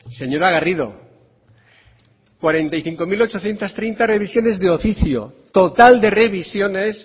señora garrido cuarenta y cinco mil ochocientos treinta revisiones de oficio total de revisiones